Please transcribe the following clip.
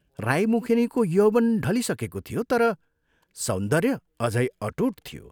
राई मुखेनीको यौवन ढलिसकेको थियो तर सौन्दर्य अझै अटूट थियो।